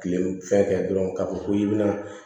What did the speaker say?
Kile fɛn kɛ dɔrɔn k'a fɔ ko i bi na